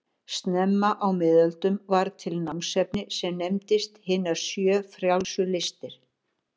Snemma á miðöldum varð til námsefni sem nefndist hinar sjö frjálsu listir.